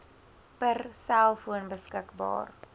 per selfoon beskikbaar